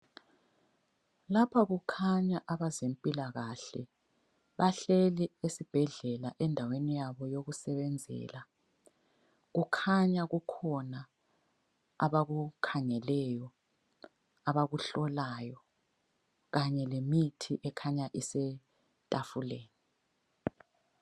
Lapha kukhanya abezempilakahle bahleli esibhedlela endaweni yabo yokusebenzela, kukhanya kukhona abakukhangeleyo, abakuhlolayo kanye lemithi ekhanya isetafuleni.